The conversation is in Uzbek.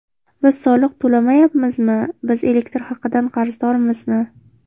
Biz soliq to‘lamayapmizmi, biz elektr haqidan qarzdormizmi?